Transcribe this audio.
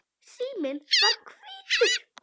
Síminn var hvítur.